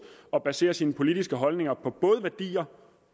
at basere sine politiske holdninger på både værdier